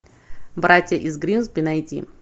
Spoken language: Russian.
братья из гримсби найди